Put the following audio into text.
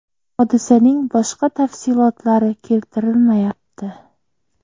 Hodisaning boshqa tafsilotlari keltirilmayapti.